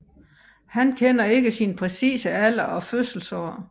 Han kender ikke sin præcise alder og fødselsår